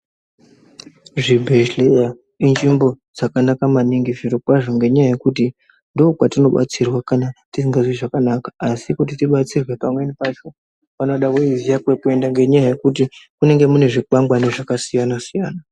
Zvibhedhleya inzvimbo dzakanaka maningi zvirokwazvo ngenyaya yekuti ndokwatinobatsirwa kana tisingazwi zvakanaka. Asi kuti tibatsirwe pamweni pacho panoda uiziya kwekuenda ngenyaya yekuti munenge mune zvikwangwani zvakasiyana-siyana.